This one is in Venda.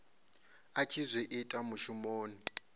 a tshi zwi ita mushumoni